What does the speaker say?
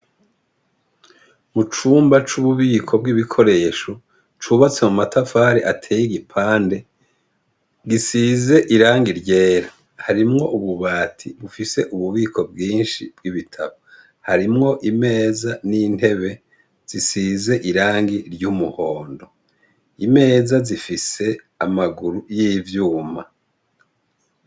Mucumba c’ububiko bw’ibikoresho cubatse n’amatafari ateye igipande gisize irangi ryera hamwo ububati bufise ububiko bwinshi bw’ibitabo harimwo imeza n’intebe zisize irangi ry’umuhondo, imeza zifise amaguru y’ivyuma.